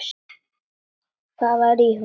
Hvað var í honum?